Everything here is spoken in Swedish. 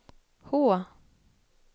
H